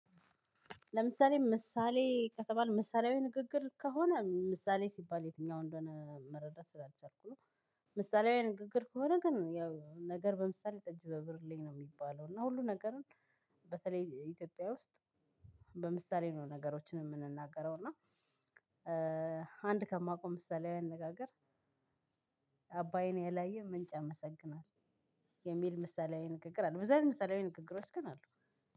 ለምሳሌ ምሳሌ ከተባል ምሳሌያዊ ንግግር ከሆነ ምሳሌ ሲባል የትኛው እንደሆነ መረዳት ስላልቻልኩ ነው። ምሳሌያዊ ንግግር ከሆነ ግን ያው ነገር በምሳሌ ጠጅ በብርሌ ነው የሚባለው እና ሁሉ ነገርን በተለይ ኢትዮጵያ ውስጥ። በምሳሌ ነው ነገሮችን የምንናገረው እና። አንድ ከማቀው ምሳሊያዊ አነጋገር። አባይን ያላየ ምንጭ ያመሰግናል። የሚል ምሳሌያዊ ንግግር አለ ብዙ አይነት ምሳሌያዊ ንግግሮች ግን አሉ።